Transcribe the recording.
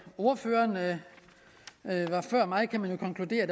ordførerne før mig konkludere at